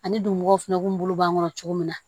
Ani dugumɔgɔw fɛnɛ kun bolo b'an kɔnɔ cogo min na